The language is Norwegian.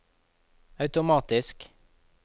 automatisk